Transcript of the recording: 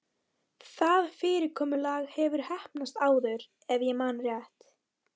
Það fyrirkomulag hefur heppnast áður- ef ég man rétt.